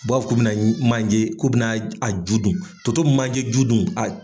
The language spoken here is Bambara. U b'a fɔ k'u bɛna manje, ku bɛna a ju dun, toto bɛ manje ju dun.